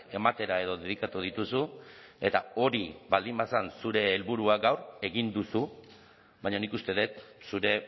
ematera edo dedikatu dituzu eta hori baldin bazen zure helburua gaur egin duzu baina nik uste dut zure